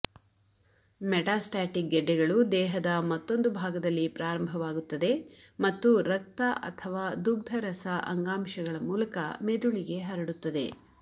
metastatic ಗೆಡ್ಡೆಗಳು ದೇಹದ ಮತ್ತೊಂದು ಭಾಗದಲ್ಲಿ ಪ್ರಾರಂಭವಾಗುತ್ತದೆ ಮತ್ತು ರಕ್ತ ಅಥವಾ ದುಗ್ಧರಸ ಅಂಗಾಂಶಗಳ ಮೂಲಕ ಮೆದುಳಿಗೆ ಹರಡುತ್ತದೆ